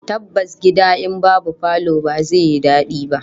Tabbas gida in babu falo ba zai yi dadi ba